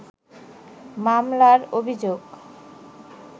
মামলার অভিযোগ